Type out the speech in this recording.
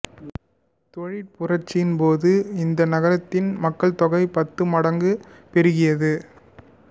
தொழிற் புரட்சியின்போது இந்த நகரத்தின் மக்கள்தொகை பத்து மடங்காகப் பெருகியது